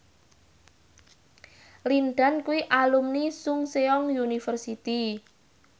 Lin Dan kuwi alumni Chungceong University